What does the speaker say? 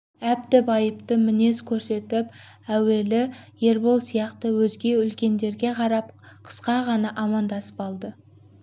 әбді байыпты мінез көрсетіп әуелі ербол сияқты өзге үлкендерге қарап қысқа ғана амандасып алды